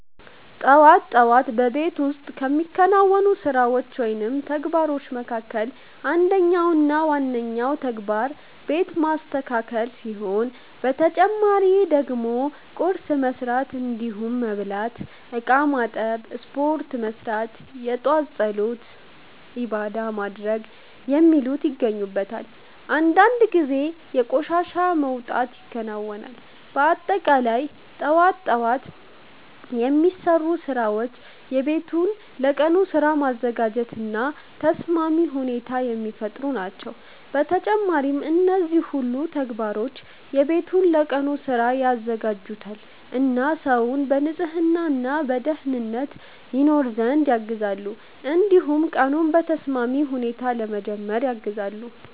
ጠዋት ጠዋት በቤት ውስጥ ከሚከናወኑ ስራዎች ወይም ተግባሮች መካከል አንደኛው እና ዋነኛው ተግባር ቤት ማስተካከል ሲሆን በተጨማሪ ደግሞ ቁርስ መስራት እንዲሁም መብላት፣ እቃ ማጠብ፣ ስፖርት መስራት፣ የጧት ፀሎት(ዒባዳ) ማድረግ የሚሉት ይገኙበታል። አንዳንድ ጊዜ የቆሻሻ መውጣት ይከናወናል። በአጠቃላይ ጠዋት ጠዋት የሚሰሩ ስራዎች ቤቱን ለቀኑ ስራ ማዘጋጀት እና ተስማሚ ሁኔታ የሚፈጥሩ ናቸው። በተጨማሪም እነዚህ ሁሉ ተግባሮች ቤቱን ለቀኑ ስራ ያዘጋጁታል እና ሰውን በንጽህና እና በደኅንነት ይኖር ዘንድ ያግዛሉ። እንዲሁም ቀኑን በተስማሚ ሁኔታ ለመጀመር ያግዛሉ።